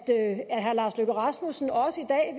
herre lars løkke rasmussen også i dag